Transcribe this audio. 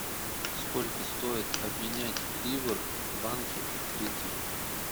сколько стоит обменять ливр в банке открытие